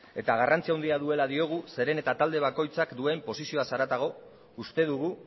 eta garrantzi handia duela diogu zeren eta talde bakoitzak duen posizioaz haratago uste dugu